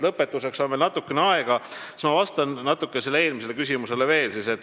Kuna on natukene aega, siis ma vastan veel eelmisele küsimusele.